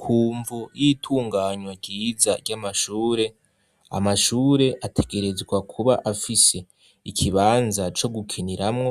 Kumvo y'itunganywa ryiza ry'amashure, amashure ategerezwa kuba afise ikibanza co gukiniramwo